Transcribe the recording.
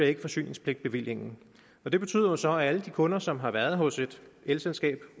ikke forsyningspligtbevillingen og det betyder jo så at alle de kunder som har været hos et elselskab